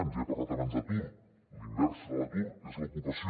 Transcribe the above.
ja he parlat abans d’atur la inversa de l’atur és l’ocupació